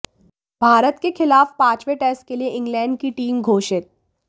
भारत के खिलाफ पांचवें टेस्ट के लिए इंग्लैंड की टीम घोषित